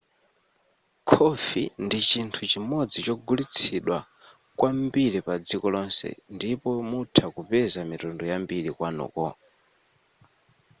khofi ndi chinthu chimodzi chogulitsidwa kwambiri padziko lonse ndipo mutha kupeza mitundu yambiri kwanuko